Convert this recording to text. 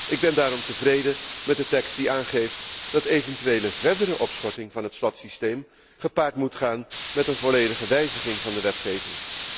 Ik ben daarom tevreden met de tekst die aangeeft dat eventuele verdere opschorting van het slotsysteem gepaard moet gaan met een volledige wijziging van de wetgeving.